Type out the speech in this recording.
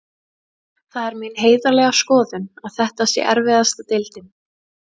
Það er mín heiðarlega skoðun að þetta sé erfiðasta deildin.